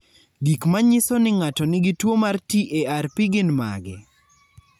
Gik manyiso ni ng'ato nigi tuwo mar TARP gin mage?